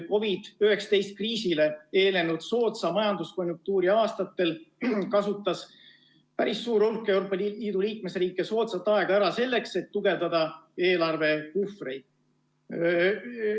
COVID-19 kriisile eelnenud soodsa majanduskonjunktuuri aastatel kasutas päris suur hulk Euroopa Liidu liikmesriike soodsat aega ära selleks, et tugevdada eelarvepuhvreid.